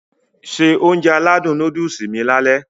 Se Ounjẹ aládùn nóódùsì mi lálẹ́